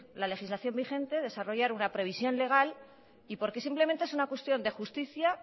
la legislación vigente desarrollar una previsión legal porque simplemente es una cuestión de justicia